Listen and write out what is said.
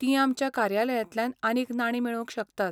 तीं आमच्या कार्यालयांतल्यान आनीक नाणीं मेळोवंक शकतात.